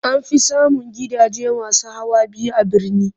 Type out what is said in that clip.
An fi samun gidaje masu hawa biyu a birane.